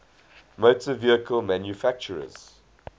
motor vehicle manufacturers